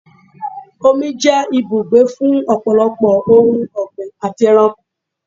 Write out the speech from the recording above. Omi jẹ́ ibùgbé fún ọ̀pọ̀lọpọ̀ ohun ọgbín àti ẹranko.